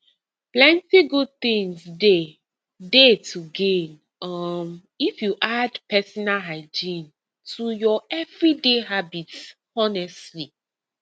plenty good things dey dey to gain um if you add personal hygiene to your everyday habits honestly